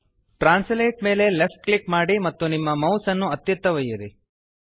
translate ಮೇಲೆ left click ಮಾಡಿ ಮತ್ತು ನಿಮ್ಮ ಮೌಸ್ ಅನ್ನು ಅತ್ತಿತ್ತ ಒಯ್ಯಿರಿ